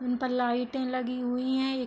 उन पर लाइटें लगी हुई हैं। एक --